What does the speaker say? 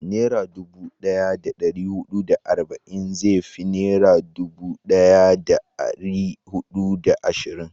Nera dubu daya da dari hudu da arba'in zai fi naira dubu daya da dari hudu da ashirin